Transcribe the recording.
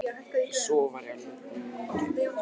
Þar sem sofið var í alvöru rúmum en ekki á torfbálkum.